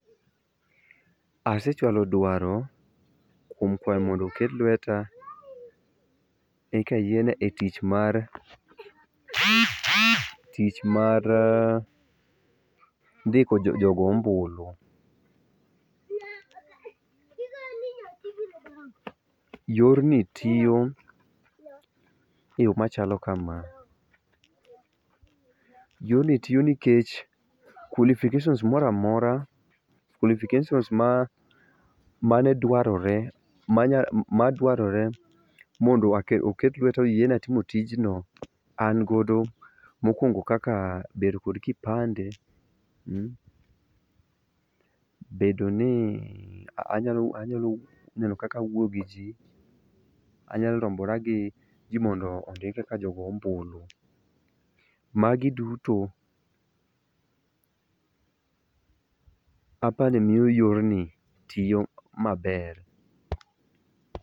Asechwalo dwaro kuom kwayo mondo oket lweta eka yiena e tich mar, tich mar ndiko jogo ombulu. Yorni tiyo e yoo machalo kama, yoni tiyo nikech qualificatons moro amora, qualifications ma, mane dwarore, ma dwarore mondo aket, oket lweta oyieno timo tijno an godo mokuongo kaka bedo kod kipande, mmmh,bedo ni anyalo ,anyalo bedo kaka awuoyo gi jii, anya lombora gi jii mondo ondikre kaka jogo ombulu. Magi duto apani miyo yorni tiyo maber